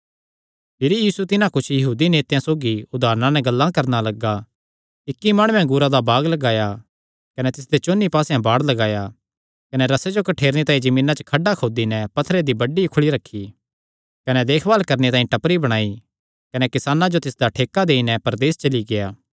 भिरी यीशु तिन्हां कुच्छ यहूदी नेतेयां नैं उदारणां नैं गल्लां करणा लग्गा इक्की माणुयैं अंगूरा दा बाग लगाया कने तिसदे चौंन्नी पास्सेयां बाड़ लगाया कने रसे जो कठ्ठेरणे तांई जमीना च खड्डा खोदी नैं पत्थरे दी बड्डी उखली रखी कने देखभाल करणे तांई टपरी बणाई कने किसानां जो तिसदा ठेका देई नैं परदेस चली गेआ